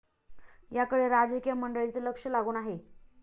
याकडे राजकीय मंडळींचे लक्ष लागून आहे.